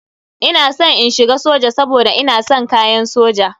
Ina san in shiga soja saboda ina san kayan soja.